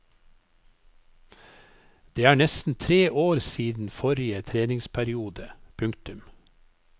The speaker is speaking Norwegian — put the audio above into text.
Det er nesten tre år siden forrige treningsperiode. punktum